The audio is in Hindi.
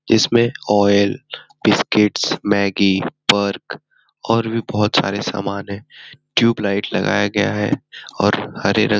इसमें बिस्किट्स मैगी पर्क और भी बहुत सारे सामान हैं ट्यूबलाइट लगाया गया है और हरे रंग --